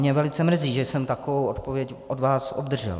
Mě velice mrzí, že jsem takovou odpověď od vás obdržel.